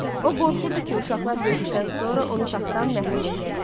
O qorxurdu ki, uşaqlar böyüdükdən sonra onu taxtdan məhrum eləyərlər.